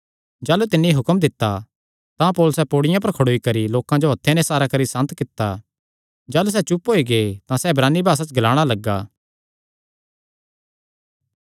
जाह़लू तिन्नी हुक्म दित्ता तां पौलुसैं पैड़ियां पर खड़ोई करी लोकां जो हत्थे नैं इसारा करी सांत कित्ता जाह़लू सैह़ चुप होई गै तां सैह़ इब्रानी भासा च ग्लाणा लग्गा